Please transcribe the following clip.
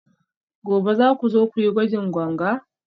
gobe za ku zo ku yi gwajin ganga?